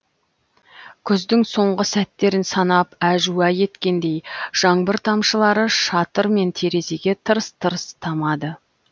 күздің соңғы сәттерін санап әжуа еткендей жаңбыр тамшылары шатыр мен терезеге тырс тырс тамады